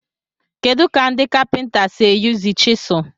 Kedu ka ndị kapinta si eyuzu chiselu?